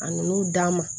A nan'o d'a ma